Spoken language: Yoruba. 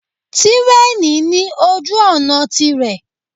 Tírèènì ní ojú-ọ̀nà tirẹ̀.